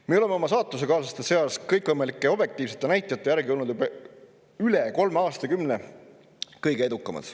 Me oleme oma saatusekaaslaste seas kõikvõimalike objektiivsete näitajate järgi olnud üle kolme aastakümne kõige edukamad.